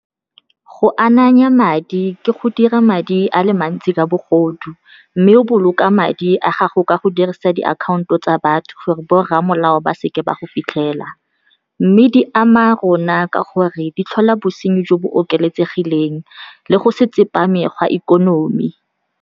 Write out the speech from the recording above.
Go ananya madi ke go dira madi a le mantsi ka bogodu, mme o boloka madi a gago ka go dirisa diakhaonto tsa batho gore borra molao ba seke ba go fitlhela, mme di ama rona ka gore di tlhola bosenyi jo bo oketsegileng le go se tsepame ga ikonomi.